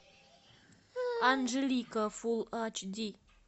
анжелика фулл айч ди